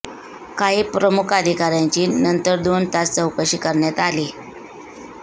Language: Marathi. काही प्रमुख अधिकाऱ्यांची नंतर दोन तास चौकशी करण्यात आली